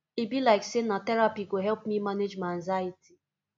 e be like sey na therapy go help me manage my anxiety